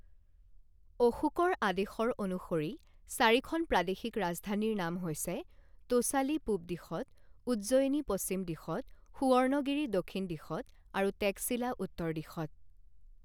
অশোকৰ আদেশৰ অনুসৰি চাৰিখন প্ৰাদেশিক ৰাজধানীৰ নাম হৈছে তোছালি পূব দিশত উজ্জয়িনী পশ্চিম দিশত সুৱৰ্ণগিৰি দক্ষিণ দিশত আৰু টেক্সিলা উত্তৰ দিশত।